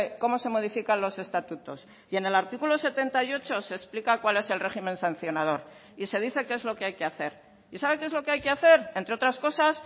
cómo se modifican los estatutos y en el artículo setenta y ocho se explica cuál es el régimen sancionador y se dice qué es lo que hay que hacer y sabe qué es lo que hay que hacer entre otras cosas